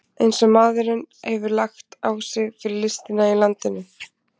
Eins og maðurinn hefur lagt á sig fyrir listina í landinu!